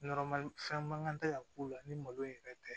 fɛn man kan tɛ ka k'u la ni malo in yɛrɛ tɛ